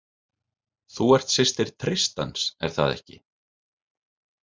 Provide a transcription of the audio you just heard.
Þú ert systir Tristans, er það ekki?